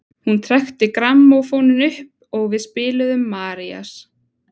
Hún trekkti grammófóninn upp og við spiluðum Marías.